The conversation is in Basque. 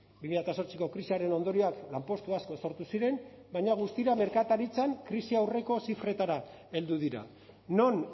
bi mila zortziko krisiaren ondorioak lanpostu asko sortu ziren vaina guztira merkataritzan krisi aurreko zifretara heldu dira non